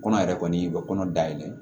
Kɔnɔ yɛrɛ kɔni u bɛ kɔnɔ dayɛlɛ